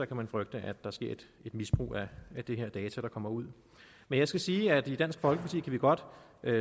kan man frygte at der sker et misbrug af de data der kommer ud men jeg skal sige at i dansk folkeparti kan vi godt